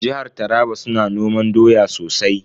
Jihar Taraba su na noman doya sosai.